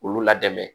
Olu la dɛmɛ